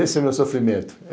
Esse é o meu sofrimento.